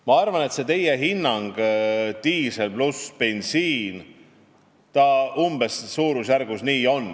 Ma arvan, et teie hinnang – diisel pluss bensiin – on õige, umbes selline see suurusjärk on.